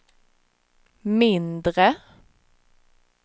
mindre